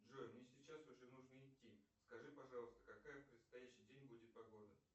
джой мне сейчас уже нужно идти скажи пожалуйста какая в предстоящий день будет погода